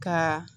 Ka